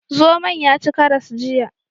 Zomon ya ci karas jiya.